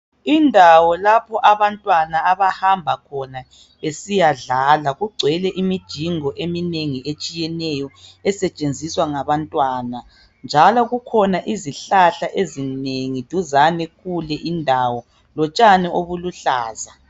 Indawo lapho. abamtwana abahamba khona besiyadlala kugcwele imijingo eminengi etshiyeneyo esetshenziswa ngabantwana njalo kukhona izihlahla duzane kule indawo.